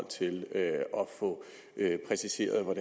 til at få præciseret hvad